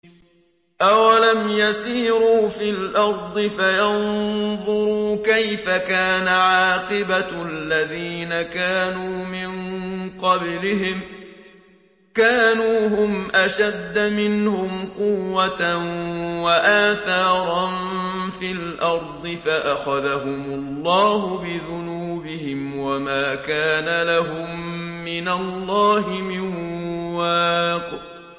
۞ أَوَلَمْ يَسِيرُوا فِي الْأَرْضِ فَيَنظُرُوا كَيْفَ كَانَ عَاقِبَةُ الَّذِينَ كَانُوا مِن قَبْلِهِمْ ۚ كَانُوا هُمْ أَشَدَّ مِنْهُمْ قُوَّةً وَآثَارًا فِي الْأَرْضِ فَأَخَذَهُمُ اللَّهُ بِذُنُوبِهِمْ وَمَا كَانَ لَهُم مِّنَ اللَّهِ مِن وَاقٍ